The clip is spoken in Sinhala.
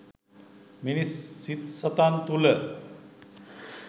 මිනිස් සිත් සතන් තුළ